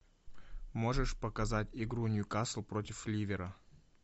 можешь показать игру ньюкасл против ливера